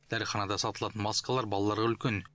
дәріханада сатылатын маскалар балаларға үлкен